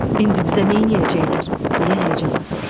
İndi bizə neyləyəcəklər, deyə həyəcanla soruşdu.